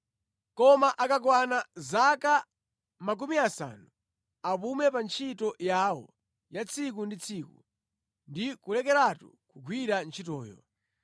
Koma akakwana zaka makumi asanu, apume pa ntchito yawo ya tsiku ndi tsiku ndi kulekeratu kugwira ntchitoyo.